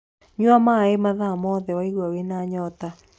Nyua maĩ mathaa mothe waigua wĩna nyota